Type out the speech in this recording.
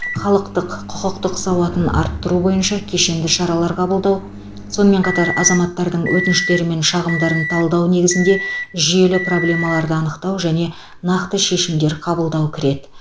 халықтық құқықтық сауатын арттыру бойынша кешенді шаралар қабылдау сонымен қатар азаматтардың өтініштері мен шағымдарын талдау негізінде жүйелі проблемаларды анықтау және нақты шешімдер қабылдау кіреді